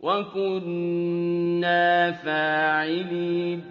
وَكُنَّا فَاعِلِينَ